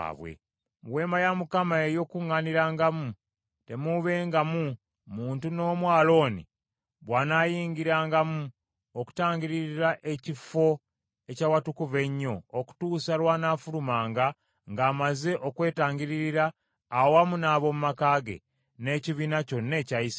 Mu Weema ey’Okukuŋŋaanirangamu temuubengamu muntu n’omu Alooni bw’anaayingirangamu okutangiririra Ekifo eky’Awatukuvu Ennyo, okutuusa lw’anaafulumanga ng’amaze okwetangiririra awamu n’ab’omu maka ge, n’ekibiina kyonna ekya Isirayiri.